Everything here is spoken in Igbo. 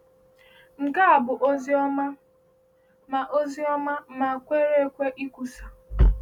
Nke a bụ ozi ọma ma ozi ọma ma kwere ekwe ikwusa.